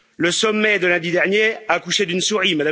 Le sommet de lundi dernier a accouché d'une souris.